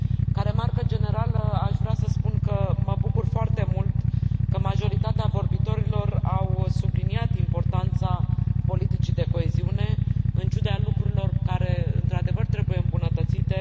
Ca remarcă generală, aș vrea să spun că mă bucur foarte mult că majoritatea vorbitorilor au subliniat importanța politicii de coeziune, în ciuda lucrurilor care, într adevăr, trebuie îmbunătățite.